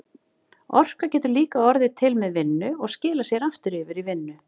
Orka getur líka orðið til með vinnu og skilað sér aftur yfir í vinnu.